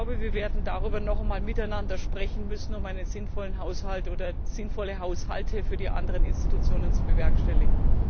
Ich glaube, wir werden darüber noch einmal miteinander sprechen müssen, um einen sinnvollen Haushalt oder sinnvolle Haushalte für die anderen Institutionen zu bewerkstelligen.